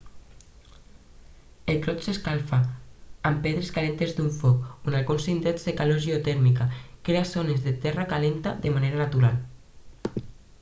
el clot s'escalfa amb pedres calentes d'un foc o en alguns indrets la calor geotèrmica crea zones de terra calenta de manera natural